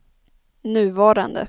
nuvarande